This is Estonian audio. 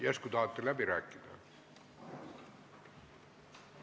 Järsku tahate läbi rääkida?